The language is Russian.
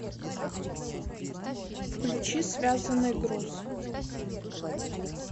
включи связанный груз